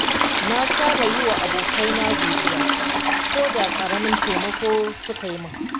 Na saba yi wa abokaina godiya koda ƙaramin taimako suka yi min.